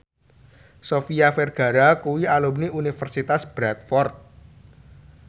Sofia Vergara kuwi alumni Universitas Bradford